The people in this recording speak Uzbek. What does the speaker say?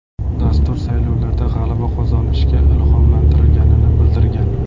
Dastur saylovlarda g‘alaba qozonishga ilhomlantirganini bildirgan.